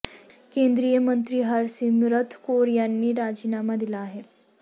केंद्रीय मंत्री हरसिमरत कौर यांनी राजीनामा दिला आहे